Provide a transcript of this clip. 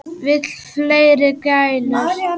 Vill fleiri gælur.